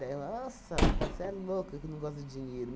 nossa, você é louca que não gosta de dinheiro.